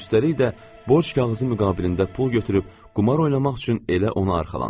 Üstəlik də borc kağızı müqabilində pul götürüb qumar oynamaq üçün elə ona arxalanır.